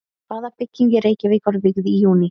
Hvaða bygging í Reykjavík var vígð í júní?